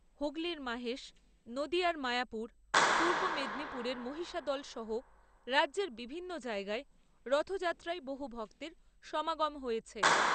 হুগলীর মাহেশ , নদীয়ার মায়াপুর , পূর্ব মেদিনীপুরের মহিষাদলসহ রাজ্যের বিভিন্ন জায়গায় , রথযাত্রায় বহু ভক্তের সমাগম হয়েছে ।